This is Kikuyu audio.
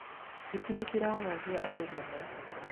hiti nĩciraagagia andũ mũno